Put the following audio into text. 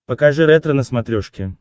покажи ретро на смотрешке